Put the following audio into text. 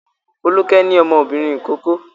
Folúkẹ́ ní ọmọbìnrin ìkókó.